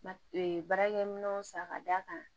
baarakɛminɛnw san ka d'a kan